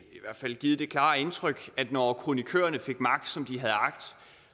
fald givet det klare indtryk at når kronikørerne fik magt som de havde agt